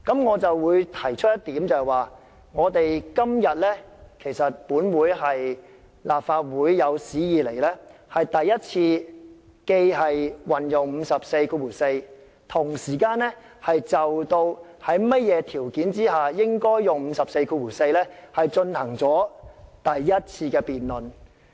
我想提出的一點是，今天是立法會有史以來在引用《議事規則》第544條的同時亦就引用該條文應符合的條件進行的第一次辯論。